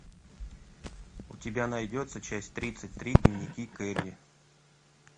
у тебя найдется часть тридцать три дневники кэрри